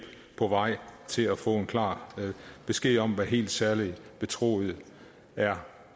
til at få klar besked om hvad helt særligt betroet er